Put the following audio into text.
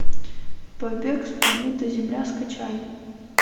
побег с планеты земля скачай